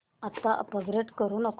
आता अपग्रेड करू नको